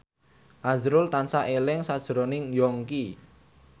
azrul tansah eling sakjroning Yongki